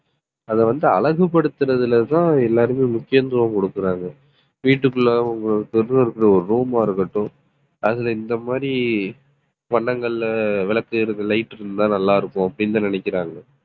அதை வந்து அழகுபடுத்துறதுலதான் எல்லாருமே முக்கியத்துவம் கொடுக்குறாங்க வீட்டுக்குள்ள அவங்க bed ல இருக்கிற ஒரு room ஆ இருக்கட்டும், அதுல இந்த மாதிரி பண்டங்கள்ல விளக்கு எரியுற light இருந்தா நல்லா இருக்கும், அப்படின்னுதான் நினைக்கிறாங்க.